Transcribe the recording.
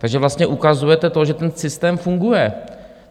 Takže vlastně ukazujete to, že ten systém funguje.